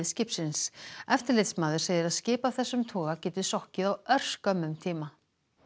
skipsins eftirlitsmaður segir að skip af þessum toga geti sokkið á örskömmum tíma